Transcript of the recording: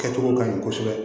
Kɛcogo ka ɲi kosɛbɛ